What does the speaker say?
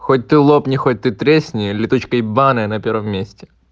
хоть ты лопни хоть ты тресни летучка ебанная на первом месте